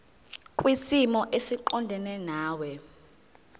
kwisimo esiqondena nawe